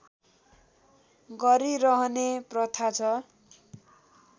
गरिरहने प्रथा छ